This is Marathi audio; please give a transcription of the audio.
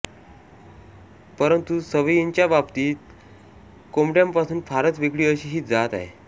परंतु सवयींच्या बाबतीत कोंबड्यांपासून फारच वेगळी अशी ही जात आहे